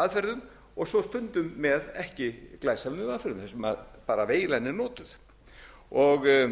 aðferðum og svo stundum með ekki glæpsamlegum aðferðum þar sem bara veilan er